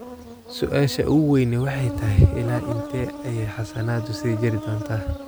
Su'aasha ugu weyni waxay tahay ilaa intee ayay xasaanadu sii jiri doontaa.